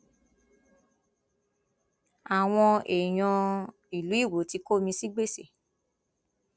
àwọn èèyàn ìlú iwọ ti kó mi sí gbèsè